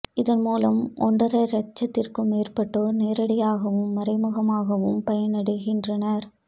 இதன்மூலம் ஒன்றரை லட்சத்திற்கும் மேற்பட்டோர் நேரடியாகவும் மறைமுகமாகவும் பயன் அடைகின்றனர்